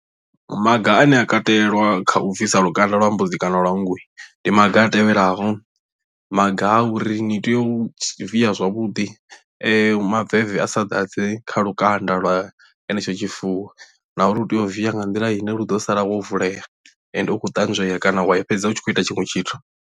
Maga ane a katelwa kha u bvisa lukanda lwa mbudzi kana lwa nngu ndi maga a tevhelaho maga a uri ni tea u via zwavhuḓi maveve a sa ḓadze kha lukanda lwa henetsho tshifuwo na uri u tea u via nga nḓila ine lu ḓo sala wo vulea ende u khou ṱanzwea kana wa i fhedza u tshi khou ita tshiṅwe tshithu.